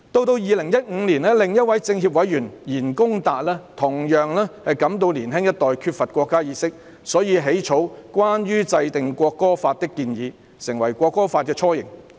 至2015年，另一位全國政協委員言恭達同樣感到年輕一代缺乏國家意識，故此起草《關於制定國歌法的建議》，成為《國歌法》的雛形。